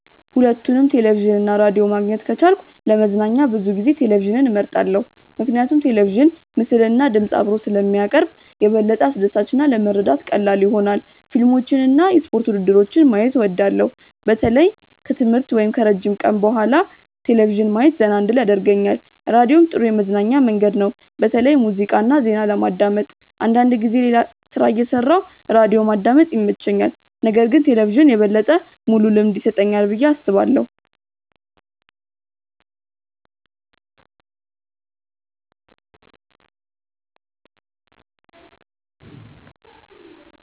ሁለቱንም ቴሌቪዥን እና ራዲዮ ማግኘት ከቻልኩ ለመዝናኛ ብዙ ጊዜ ቴሌቪዥንን እመርጣለሁ። ምክንያቱም ቴሌቪዥን ምስልና ድምፅ አብሮ ስለሚያቀርብ የበለጠ አስደሳች እና ለመረዳት ቀላል ይሆናል። ፊልሞችን እና የስፖርት ውድድሮችን ማየት እወዳለሁ። በተለይ ከትምህርት ወይም ከረጅም ቀን በኋላ ቴሌቪዥን ማየት ዘና እንድል ያደርገኛል። ራዲዮም ጥሩ የመዝናኛ መንገድ ነው፣ በተለይ ሙዚቃ እና ዜና ለማዳመጥ። አንዳንድ ጊዜ ሌላ ሥራ እየሠራሁ ራዲዮ ማዳመጥ ይመቸኛል። ነገር ግን ቴሌቪዥን የበለጠ ሙሉ ልምድ ይሰጠኛል ብዬ አስባለሁ።